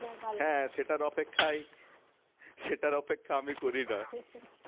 হ্যাঁ সেটার অপেক্ষায় সেটার অপেক্ষা আমি করি না